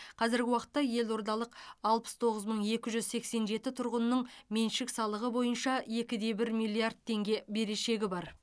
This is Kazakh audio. қазіргі уақытта елордалық алпыс тоғыз мың екі жүз сексен жеті тұрғынның меншік салығы бойынша екі де бір миллиард теңге берешегі бар